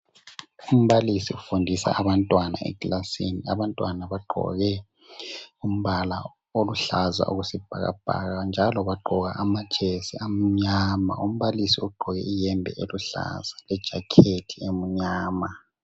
Umbalisi ufundisa abantwana ekilasini. Abantwana bagqoke amasikipa ezilombala oluhlaza okwesibhakabhaka njalo abanye bagqoka lamajesi amnyama. Umbalisi ugqoke ihembe eluhlaza lejakheti emnyama.